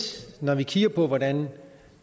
når vi kigger på hvordan